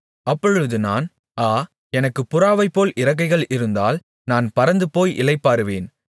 அப்பொழுது நான் ஆ எனக்குப் புறாவைப்போல் இறக்கைகள் இருந்தால் நான் பறந்துபோய் இளைப்பாறுவேன்